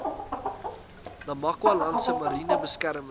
namakwalandse mariene beskermde